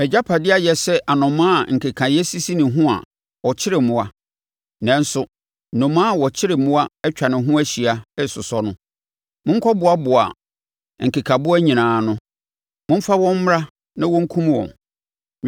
Mʼagyapadeɛ ayɛ sɛ anomaa a nkekaeɛ sisi ne ho a ɔkyere mmoa, nanso, nnomaa a wɔkyere mmoa atwa ne ho ahyia resosɔ no. Monkɔboaboa nkekaboa nyinaa ano. Momfa wɔn mmra na wɔnkum wɔn.